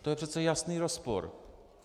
To je přece jasný rozpor.